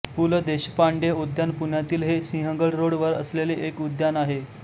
पु ल देशपांडे उद्यान पुण्यातील हे सिंहगड रोड वर असलेले एक उद्यान आहे